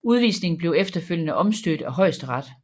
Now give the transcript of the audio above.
Udvisningen blev efterfølgende omstødt af Højesteret